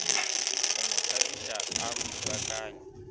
go mo thapiša a thubakanye